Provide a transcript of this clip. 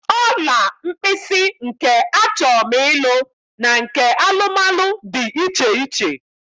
Ọla mkpịsị nke achọm ịlụ na nke alụmalụ dị iche iche